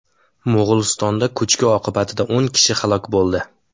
Mo‘g‘ulistonda ko‘chki oqibatida o‘n kishi halok bo‘ldi.